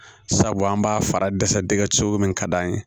Sabu an b'a fara dɛsɛ dɛ cogo min ka d'an ye